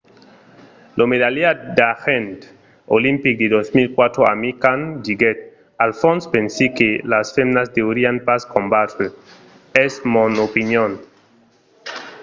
lo medalhat d'argent olimpic de 2004 amir khan diguèt al fons pensi que las femnas deurián pas combatre. es mon opinion.